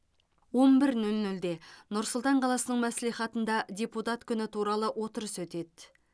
он бір нөл нөлде нұр сұлтан қаласының мәслихатында депутат күні туралы отырыс өтеді